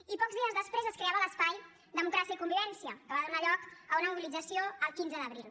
i pocs dies després es creava l’espai democràcia i convivència que va donar lloc a una mobilització el quinze d’abril